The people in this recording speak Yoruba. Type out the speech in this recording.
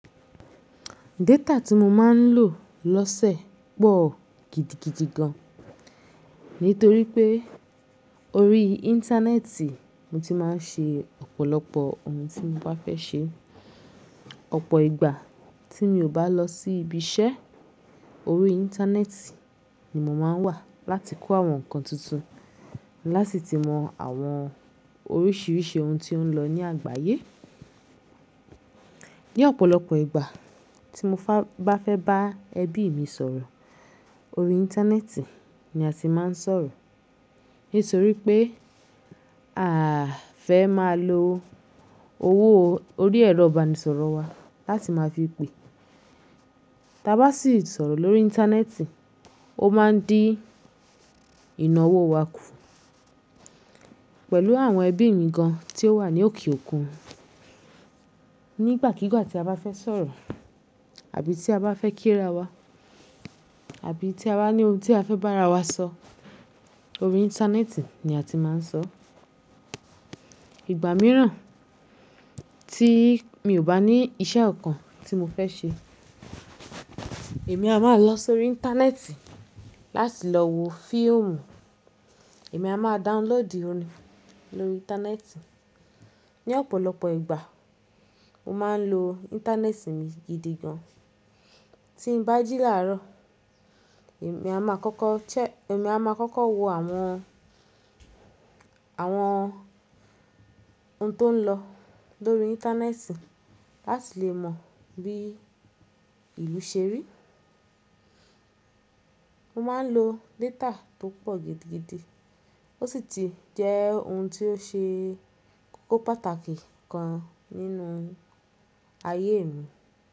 Data tí mo máa ń lò lọ́sẹ̀ pọ̀ gidigidi gan. Nítorí pé orí Íńtánẹ́ẹ̀tì mo ti máa ń ṣe ọ̀pọ̀lọpọ̀ ohun tí mo bá fẹ́ ṣe. Ọ̀pọ̀ ìgbà tí mi ò bá lọ sí ibi iṣẹ́, orí Íńtánẹ́ẹ̀tì ni mo máa ń wà láti kọ́ àwọn nǹkan tuntun, láti si mọ àwọn oríṣiríṣi ohun tí ó ń lọ ní àgbáyé. Ní ọ̀pọ̀lọpọ̀ ìgbà tí mo bá fẹ́ bá ẹbí mi sọ̀rọ̀, orí Íńtánẹ́ẹ̀tì ni a ti máa ń sọ̀rọ̀. Nítorí pé à fẹ́ máa lo owó orí ẹ̀rọ ìbánisọ̀rọ̀ wa láti máa fi pè. Taa bá sì sọ̀rọ̀ lórí Íńtánẹ́ẹ̀tì, ó máa ń dí ìnáwó wa kù. Pẹ̀lú àwọn ẹbí mi gan tí ó wà ní òkè òkun, nígbàkígbà tí a bá fẹ́ sọ̀rọ̀ àbí tí a bá fẹ́ kí ra wa àbí tí a bá ní ohun tí a fẹ́ bá ara wa sọ, orí Íńtánẹ́ẹ̀tì ni a ti máa ń sọ. Ìgbà mìíràn tí mi ò bá ní iṣẹ́ kankan tí mo fẹ́ ṣe, èmi a máa lọ sórí Íńtánẹ́ẹ̀tì láti lọ wo fíìmù, èmi a máa download orin lórí Íńtánẹ́ẹ̀tì. Ní ọ̀pọ̀lọpọ̀ ìgbà, mo máa ń lo Íńtánẹ́ẹ̀tì mi gidi gan. Tí n bá jí làárọ̀, èmi a máa kọ́kọ́ cẹ-- èmi a máa kọ́kọ́ wo àwọn, àwọn ohun tó ń lọ lórí Íńtánẹ́ẹ̀tì láti lè mọ bí ìlú ṣe rí. Mo máa ń lo data tó pọ̀ gidigidi, ó sì ti jẹ́ ohun tí ó ṣe kókó pàtàkì kan nínú ayé mi.